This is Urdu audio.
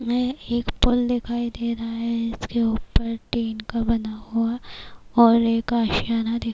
یہ ایک دکھائی دے رہا ہے اس کے اوپر ٹین کا بنا ہوا اور ایک اشیانہ--